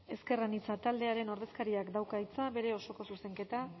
ezker anitza taldearen ordezkariak dauka hitza bere osoko zuzenketa